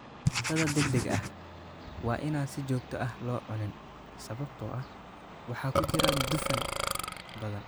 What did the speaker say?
Cuntada degdega ah waa inaan si joogto ah loo cunin sababtoo ah waxa ku jira dufan badan.